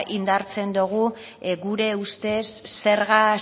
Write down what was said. indartzen dogu gure ustez zerga